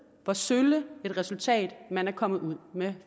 hvor sølle et resultat man er kommet ud